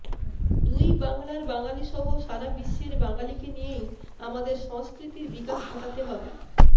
দুই বাংলার বাঙালিসহ সারাবিশ্বের বাঙালিকে নিয়েই আমাদের সংস্কৃতির বিকাশ ঘটাতে হবে